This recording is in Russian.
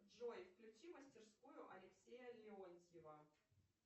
джой включи мастерскую алексея леонтьева